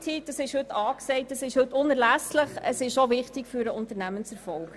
Diese ist heute angesagt, sie ist unerlässlich und auch wichtig für den Unternehmenserfolg.